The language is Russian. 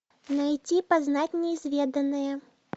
найти познать неизведанное